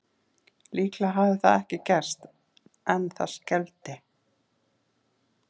Líklega hafði það ekki gerst en það skelfdi